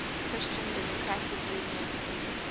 christian democratic union